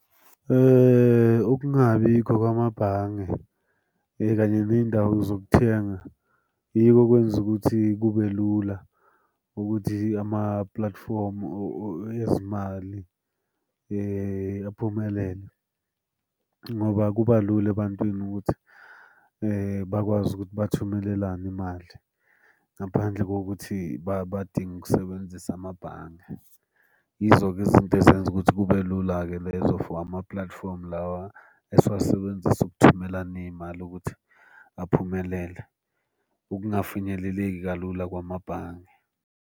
Ukungabikho kwamabhange kanye ney'ndawo zokuthenga yiko okwenza ukuthi kube lula ukuthi ama-platform ezimali aphumelele, ngoba kuba lula ebantwini ukuthi bakwazi ukuthi bathumelelane imali ngaphandle kokuthi badinga ukusebenzisa amabhange. Yizo-ke izinto ezenza ukuthi kube lula-ke lezo for ama-platform lawa esiwasebenzisa ukuthumelana iy'mali ukuthi aphumelele, ukungafinyeleleki kalula kwamabhange.